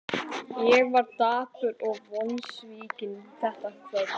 Ég var dapur og vonsvikinn þetta kvöld.